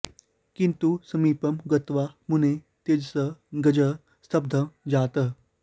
किन्तु समीपं गत्वा मुनेः तेजसः गजः स्तब्धः जातः